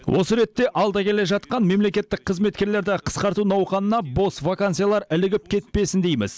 осы ретте алда келе жатқан мемлекеттік қызметкерлерді қысқарту науқанына бос вакансиялар ілігіп кетпесін дейміз